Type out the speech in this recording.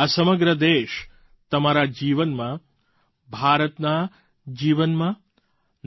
આ સમગ્ર દેશ તમારા જીવનમાં ભારતના જીવનમાં